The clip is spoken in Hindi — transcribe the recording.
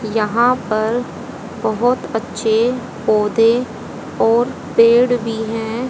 यहां पर बहोत अच्छे पौधे और पेड़ भी हैं।